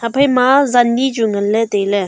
iphaima zan ni chu nganley tailey.